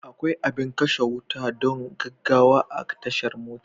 Akwai abin Kashe wuta don gaggawa a tashar mota.